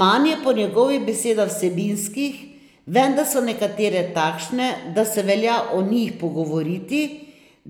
Manj je po njegovih besedah vsebinskih, vendar so nekatere takšne, da se velja o njih pogovoriti,